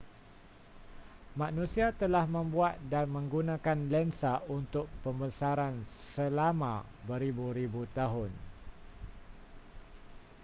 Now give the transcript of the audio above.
manusia telah membuat dan menggunakan lensa untuk pembesaran selama beribu-ribu tahun